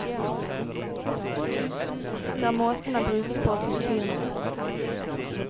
Det er måten den brukes på som betyr noe.